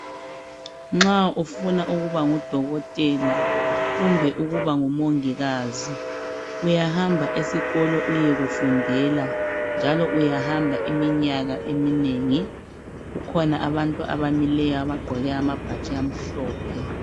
Nxa ufuna ukuba nguDokotela kumbe ukubangu Mongikazi uyahamba esikolo uyekufundela njalo uyahamba iminyaka eminengi . Kukhona abantu abamileyo abagqoke amabhatshi amhlophe.